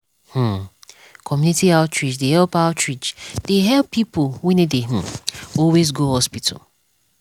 hmmcommunity outreach dey help outreach dey help people wey no dey um always go hospital.